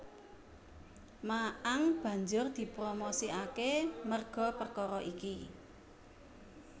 Ma Ang banjur dipromosikake merga perkara iki